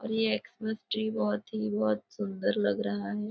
ये Xmas tree बहुत ही सुंदर लग रहा है।